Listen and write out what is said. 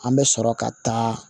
An bɛ sɔrɔ ka taa